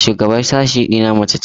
Shugabar sashe ɗina mace ce.